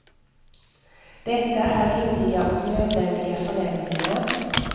Detta är rimliga och nödvändiga förändringar.